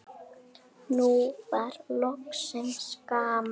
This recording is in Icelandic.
Nú var loksins gaman.